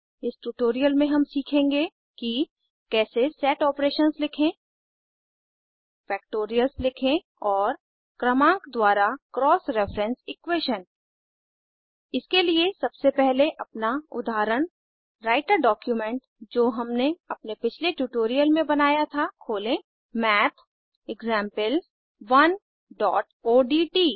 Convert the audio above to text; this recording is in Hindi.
इस ट्यूटोरियल में हम सीखेंगे कि कैसे सेट आपरेशंस लिखें फैक्टोरियल्स लिखें और क्रमांक द्वारा क्रॉस रेफरेंस इक्वेशन इसके लिए सबसे पहले अपना उदाहरण राइटर डॉक्यूमेंट जो हमने अपने पिछले ट्यूटोरियल में बनाया था खोलें mathexample1ओडीटी